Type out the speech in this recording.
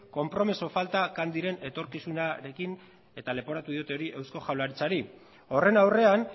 konpromiso falta candyren etorkizunarekin eta leporatu diote hori eusko jaurlaritzari horren aurrean